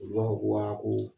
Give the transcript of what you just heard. Olu b'a fɔ ko a ko